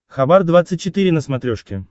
хабар двадцать четыре на смотрешке